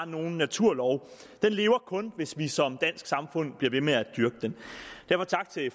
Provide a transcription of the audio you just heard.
nogen naturlov den lever kun hvis vi som dansk samfund bliver ved med at dyrke den derfor tak til